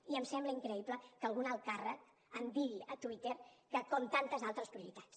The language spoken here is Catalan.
i em sembla increïble que un alt càrrec em digui a twitter que com tantes altres prioritats